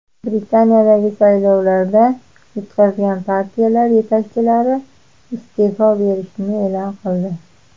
Britaniyadagi saylovlarda yutqazgan partiyalar yetakchilari iste’fo berishini e’lon qildi.